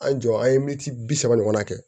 An jɔ an ye militi bi saba ɲɔgɔnna kɛ